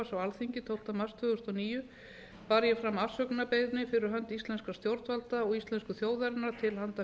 alþingi tólfta mars tvö þúsund og níu bar ég fram afsökunarbeiðni fyrir hönd íslenskra stjórnvalda og íslensku til handa